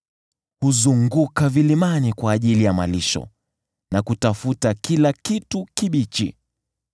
Huzunguka vilimani kwa ajili ya malisho na kutafuta kila kitu kibichi.